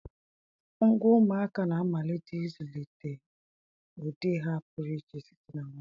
Ngwa ụmụaka na-amalite ịzụlite ụdị ha pụrụ iche site na nwata.